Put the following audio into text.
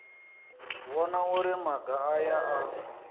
vhona uri maga aya a